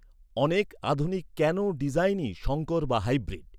অনেক আধুনিক ক্যানো ডিজাইনই সঙ্কর বা হাইব্রিড।